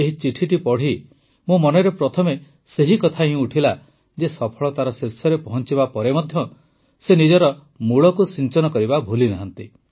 ଏହି ଚିଠିଟି ପଢ଼ି ମୋ ମନରେ ପ୍ରଥମେ ସେହି କଥା ହିଁ ଉଠିଲା ଯେ ସଫଳତାର ଶୀର୍ଷରେ ପହଂଚିବା ପରେ ମଧ୍ୟ ସେ ନିଜ ମୂଳକୁ ସିଂଚନ କରିବା ଭୁଲିନାହାନ୍ତି